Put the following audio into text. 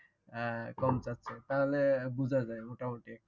না কম চাচ্ছে তাহলে বুজা যায় মোটামুটি একটা